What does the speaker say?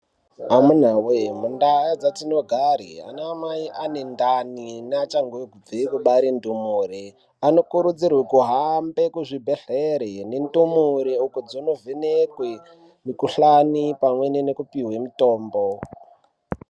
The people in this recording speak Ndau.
Amunawe! mundau dzatinogara anamai ane ndani neachangobve kubare ndumure, anokurudzirwe kuhamba kuzvibhehlere nendumure , uko dzinovhekwe mukhuhlani pamwe nekupiwe mutombo.